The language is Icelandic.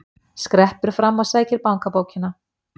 Skreppur fram og sækir bankabókina.